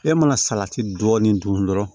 E mana salati dɔɔni dun dɔrɔn